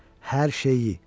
Hər şeyi.